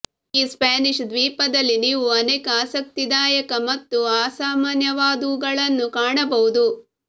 ಈ ಸ್ಪ್ಯಾನಿಷ್ ದ್ವೀಪದಲ್ಲಿ ನೀವು ಅನೇಕ ಆಸಕ್ತಿದಾಯಕ ಮತ್ತು ಅಸಾಮಾನ್ಯವಾದವುಗಳನ್ನು ಕಾಣಬಹುದು